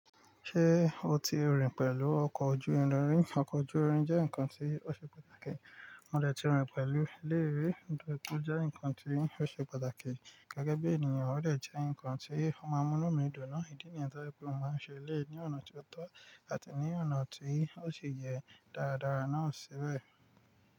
Ṣé o ti rìn pẹ̀lú ọkọ̀ ojú irin rí? Ọkọ̀ ojú irin jẹ́ nǹkan tí ó ṣe pàtàkì. Mọ̀ dẹ̀ ti rìn pẹ̀lú eleyi ri tóri o jẹ́ nǹkan tí ó ṣe pàtàkì. Gẹ́gẹ́ bí ènìyàn, ó dẹ̀ jẹ́ ǹkan tí ó máa mú inú mi dùn náà. Ìdí nìyẹn tó jẹ́ pé mo máa ń ṣe eleyi ní ọ̀nà tí o tọ́ àti ní ọ̀nà tí ó si yẹ dáradára náà sibẹ̀.